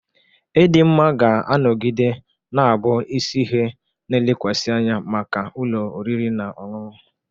Ịdị mma ga-anọgide na-abụ isi ihe na-elekwasị anya maka ụlọ oriri na ọṅụṅụ.